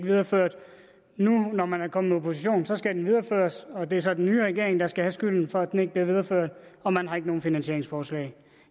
videreført og nu når man er kommet i opposition skal den videreføres og det er så den nye regering der skal have skylden for at den ikke bliver videreført og man har ikke nogen finansieringsforslag